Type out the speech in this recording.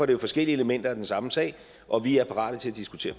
det jo forskellige elementer af den samme sag og vi er parate til at diskutere